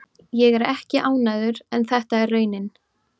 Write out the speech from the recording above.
Ég er ekki ánægður en þetta er raunin.